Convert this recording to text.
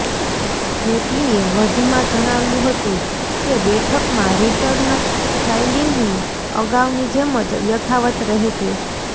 જેટલીએ વધુમાં જણાવ્યું હતું કે બેઠકમાં રિટર્ન ફાઈલિંગની અગાઉની જેમ જ યથાવત રહેશે